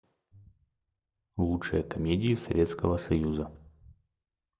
лучшие комедии советского союза